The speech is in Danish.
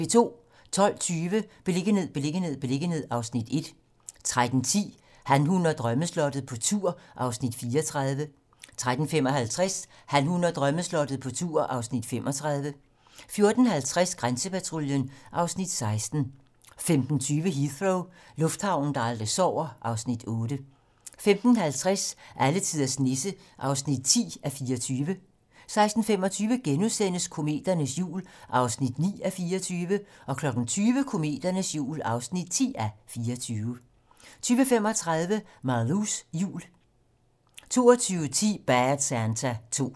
12:20: Beliggenhed, beliggenhed, beliggenhed (Afs. 1) 13:10: Han, hun og drømmeslottet - på tur (Afs. 34) 13:55: Han, hun og drømmeslottet - på tur (Afs. 35) 14:50: Grænsepatruljen (Afs. 16) 15:20: Heathrow - lufthavnen, der aldrig sover (Afs. 8) 15:50: Alletiders Nisse (10:24) 16:25: Kometernes jul (9:24)* 20:00: Kometernes jul (10:24) 20:35: Malous jul 22:10: Bad Santa 2